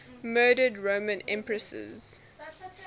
murdered roman empresses